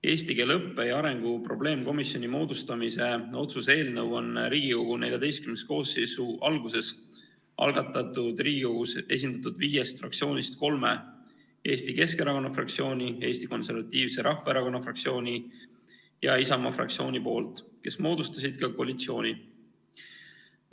Eesti keele õppe ja arengu probleemkomisjoni moodustamise otsuse eelnõu on Riigikogu XIV koosseisu alguses algatanud Riigikogus esindatud viiest fraktsioonist kolm – Eesti Keskerakonna fraktsioon, Eesti Konservatiivse Rahvaerakonna fraktsioon ja Isamaa fraktsioon –, kes moodustasid ka koalitsiooni.